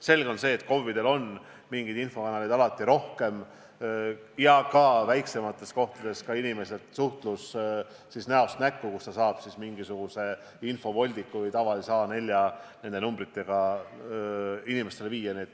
Selge on see, et KOV-idel on mingeid infokanaleid rohkem, ja väiksemates kohtades toimub inimeste suhtlus ka näost näkku, mille käigus saab infovoldikuid või tavalisi A4-lehti nende numbritega inimestele viia.